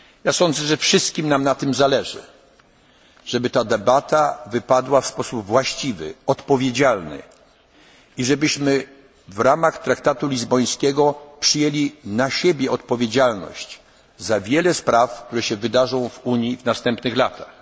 Unii. Sądzę, że wszystkim nam zależy na tym, żeby ta debata wypadła w sposób właściwy, odpowiedzialny, i żebyśmy w ramach traktatu lizbońskiego przyjęli na siebie odpowiedzialność za wiele spraw, które się wydarzą w Unii w następnych